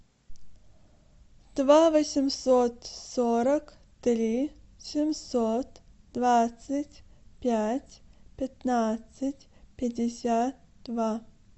два восемьсот сорок три семьсот двадцать пять пятнадцать пятьдесят два